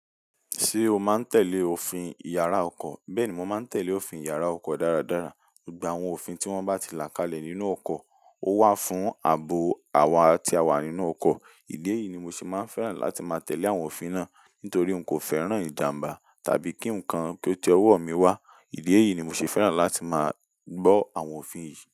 Ṣé o máa ń tẹ̀lé òfin yàrá oko? Bẹ́ẹ̀ ni, mo máa ń tẹ̀lé òfin yàrá oko dáradára. Gba àwọn òfin tí wọ́n bá ti làkálẹ̀ nínú oko, ó wà fún ààbò àwa tí a wà nínú oko. Ìdí èyí ni mo sì máa ń fẹ́ràn láti máa tẹ̀lé àwọn òfin náà, nítorí n kò fẹ́ràn ìjàmbá tàbí kí ǹkan kí ó ti ọwọ́ mi wá. Ìdí èyí ni mo sì fẹ́ràn láti máa gbọ́ àwọn òfin yìí.